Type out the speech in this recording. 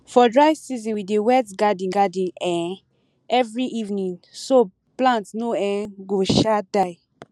for dry season we dey wet garden garden um every evening so plants no um go um die